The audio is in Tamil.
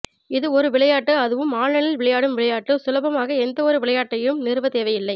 இது ஒரு விளையாட்டு அதுவும் ஆன்லைனில் விளையாடும் விளையாட்டு சுலபமாக எந்த ஒரு விளையாட்டையும் நிறுவ தேவையில்லை